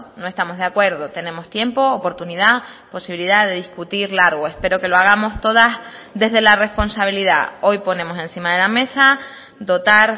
no estamos de acuerdo tenemos tiempo oportunidad posibilidad de discutir largo espero que lo hagamos todas desde la responsabilidad hoy ponemos encima de la mesa dotar